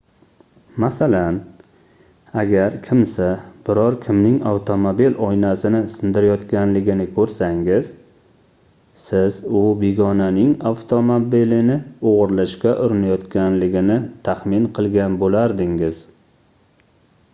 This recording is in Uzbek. masalan agar kimsa biror kimning avtomobil oynasini sindirayotganligini koʻrsangiz siz u begonaning avtomobilini oʻgʻirlashga urinayotganligini taxmin qilgan boʻlardingiz